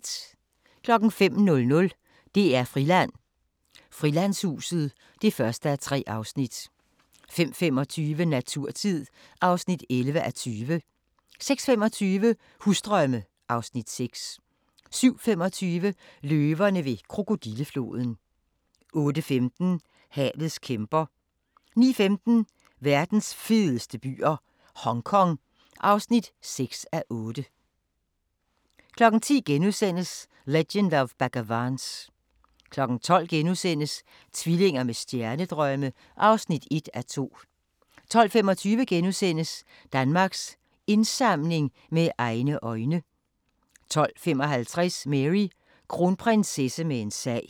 05:00: DR-Friland: Frilandshuset (1:3) 05:25: Naturtid (11:20) 06:25: Husdrømme (Afs. 6) 07:25: Løverne ved krokodillefloden 08:15: Havets kæmper 09:15: Verdens fedeste byer - Hongkong (6:8) 10:00: Legend of Bagger Vance * 12:00: Tvillinger med stjernedrømme (1:2)* 12:25: Danmarks Indsamling – Med egne øjne * 12:55: Mary: Kronprinsesse med en sag